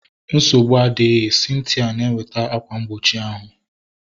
Nsogbu adịghị, Cynthia na eweta akwa mgbochi ahu